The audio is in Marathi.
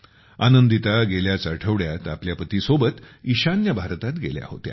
आनंदिता गेल्याच आठवड्यात आपल्या पतीसोबत ईशान्य भागात गेल्या होत्या